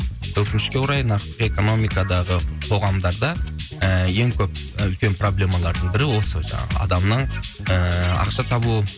өкінішке орай нарықтық экономикадағы қоғамдарда ііі ең көп үлкен проблемалардың бірі ол сол жаңағы адамның ііі ақша табуы